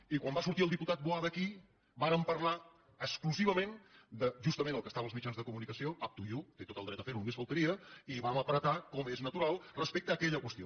i quan va sortir el diputat boada aquí vàrem parlar exclusivament de justament el que estava en els mitjans de comunicació up to youmés faltaria i vam apretar com és natural respecte a aquella qüestió